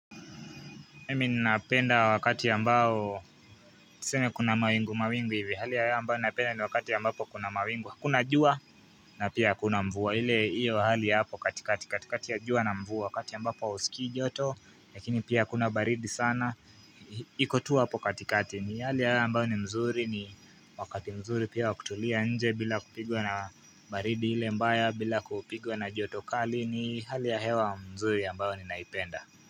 Mimi ninapenda wakati ambao tuseme kuna mawingu mawingu hivi hali ya hewa ambayo ninapenda ni wakati ambapo kuna mawingu kuna jua na pia hakuna mvua ile iyo hali ya hapo katikati katikati ya jua na mvua wakati ambapo usikii joto lakini pia hakuna baridi sana iko tu hapo katikati ni hali hewa ambayo ni mzuri ni wakati mzuri pia wakutulia nje bila kupigwa na baridi ile mbaya bila kupigwa na joto kali ni hali ya hewa mzuri ambayo ninaipenda.